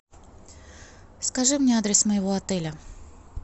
скажи мне адрес моего отеля